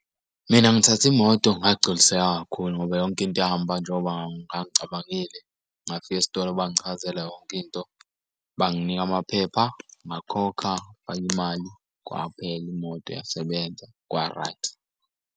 Mina ngithathe imoto ngagculiseka kakhulu ngoba yonke into yahamba njengoba ngicabangile. Ngafika esitolo bangichazela yonke into, banginika amaphepha ngakhokha imali, kwaphela imoto yasebenza kwa-right.